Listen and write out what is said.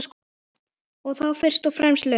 Þá fyrst og fremst laun.